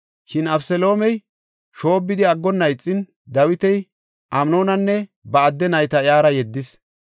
Shin Abeseloomey shoobbidi aggonna ixin, Dawiti Amnoonanne ba adde nayta iyara yeddis.